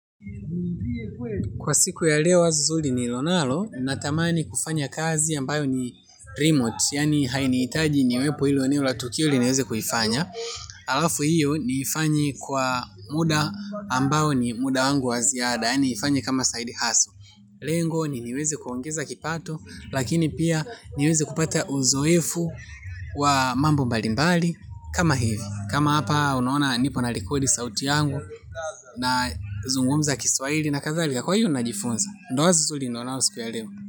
Kwa siku ya leo wazo nzuri nililo nalo, natamani kufanya kazi ambayo ni 'remote', yaani hainihitaji niwepo hilo eneo la tukio ili niweze kuifanya, halafu hiyo niifanye kwa muda ambao ni muda wangu wa ziada, yaani niifanye kama 'side hustle'. Lengo ni niweze kuongeza kipato, lakini pia niweze kupata uzoefu wa mambo mbali mbali, kama hivi. Kama hapa unaona nipo na rekodi sauti yangu, nazungumza kiswahili na kadhalika, kwa hio najifunza. Ndio wazo nzuri nilio nayo siku ya leo.